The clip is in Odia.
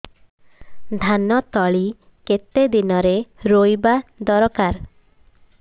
ଧାନ ତଳି କେତେ ଦିନରେ ରୋଈବା ଦରକାର